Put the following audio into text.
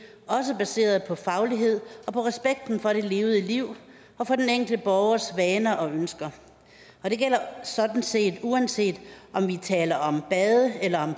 også baseret på faglighed og på respekten for det levede liv og den enkelte borgers vaner og ønsker og det gælder sådan set uanset om vi taler om bade eller om